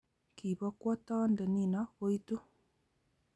ki bokwo toonde nino koitu